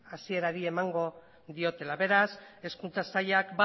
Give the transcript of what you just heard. hasierari emango diotela beraz hezkuntza sailak